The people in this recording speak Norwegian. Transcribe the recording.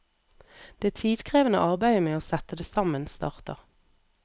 Det tidkrevende arbeidet med å sette det sammen starter.